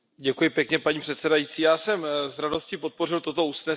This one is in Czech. Paní předsedající, já jsem s radostí podpořil toto usnesení.